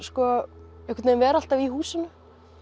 einhvern veginn vera alltaf í húsinu